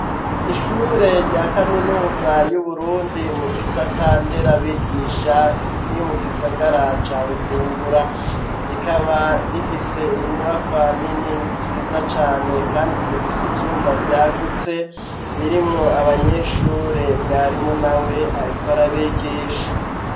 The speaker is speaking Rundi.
Ishure rya kaminuza y'uburundi mu gisata nderabigisha riri mu gisagara ca Bujumbura rikaba rifise inyubakwa nini nziza cane kandi zifise ivyumba vyagutse birimwo abanyeshure mwarimu nawe ariko arabigisha